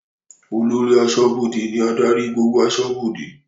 Olórí aṣọ́bọdè ní adarí gbogbo aṣọ́bọdè